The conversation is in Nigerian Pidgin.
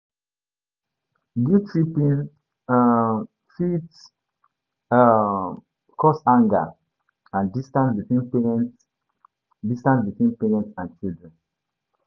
Guilt-tripping um fit um cause anger and distance between parents distance between parents and children.